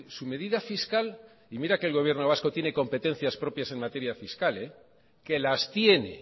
su medida fiscal y mira que el gobierno vasco tiene competencias propias en materia fiscal que las tiene